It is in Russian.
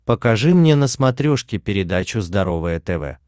покажи мне на смотрешке передачу здоровое тв